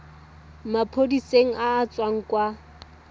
maphodiseng a a tswang kwa